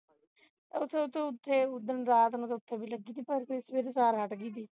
ਓਥੇ ਓਥੇ ਉੱਠੋ ਉਸ ਦਿਨ ਰਾਤ ਨੂੰ ਓਥੇ ਵੀ ਲਗੀ ਸੀ ਪਰ ਸਵੇਰੇ ਸਾਰਾ ਹਟ ਗਈ ਸੀ